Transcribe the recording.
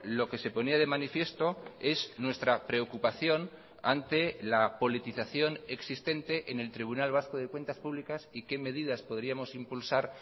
lo que se ponía de manifiesto es nuestra preocupación ante la politización existente en el tribunal vasco de cuentas públicas y qué medidas podríamos impulsar